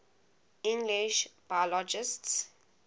english biologists